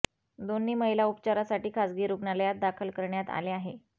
दोन्ही महिला उपचारासाठी खासगी रुग्णालयात दाखल करण्यात आले आहे